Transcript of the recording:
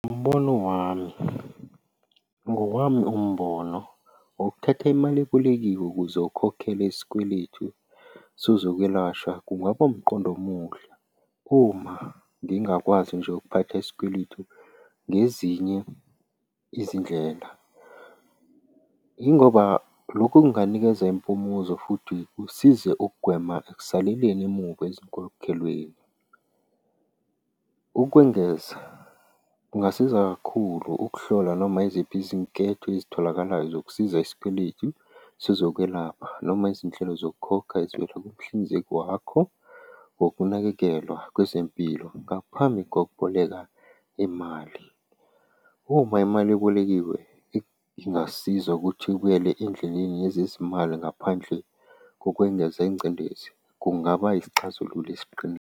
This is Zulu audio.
Umbono wami, ngowami umbono, ngokuthatha imali ebolekiwe ukuze ukhokhele isikweletu sezokwelashwa kungaba umqondo omuhle, uma ngingakwazi nje ukuphatha isikweletu ngezinye izindlela. Yingoba lokhu kunganikeza impumuzo futhi kusize ukugwema ekusaleleni emuva ezinkokhelweni. Ukwengeza, kungasiza kakhulu ukuhlola noma iziphi izinketho ezitholakalayo zokusiza isikweletu sezokwelapha noma izinhlelo zokukhokha ezivela kumhlinzeki wakho, ngokunakekelwa kwezempilo ngaphambi kokuboleka imali. Uma imali ebolekiwe ingasiza ukuthi ibuyele endleleni yezezimali ngaphandle ngokwengeza ingcindezi, kungaba yisixazululo esiqinile.